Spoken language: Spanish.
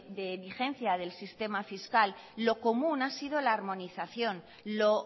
de vigencia del sistema fiscal lo común ha sido la harmonización lo